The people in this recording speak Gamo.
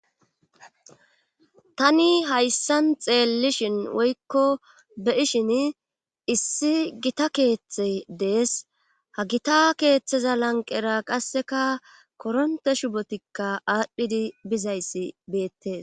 Tani hayssan xeellishin woykko be ishin issi gita keeththe dees ha gita keeththeza lanqera qasseka koronte shubotikka aadhdhidi bizayssi beettees